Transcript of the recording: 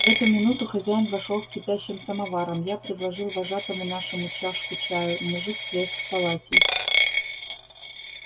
в эту минуту хозяин вошёл с кипящим самоваром я предложил вожатому нашему чашку чаю мужик слез с полатей